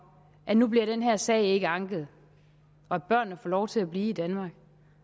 at nu bliver den her sag ikke anket og at børnene får lov til at blive i danmark